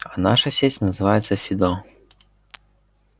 а наша сеть называется фидо